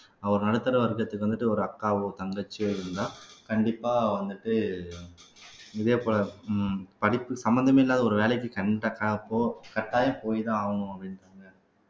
ஒரு நடுத்தர வர்க்கத்துக்கு வந்துட்டு ஒரு அக்காவோ தங்கச்சியோ இருந்தா கண்டிப்பா வந்துட்டு இதே போல உம் படிப்பு சம்பந்தமே இல்லாத ஒரு வேலைக்கு கண் கட்டா கட்டாயம் போய்தான் ஆகணும் அப்படின்றாங்க